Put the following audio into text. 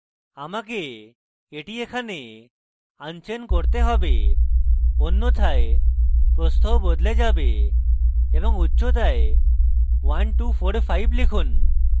আমাকে এটি এখানে unchain করতে have অন্যথায় প্রস্থও বদলে যাবে এবং উচ্চতায় 1245 লিখুন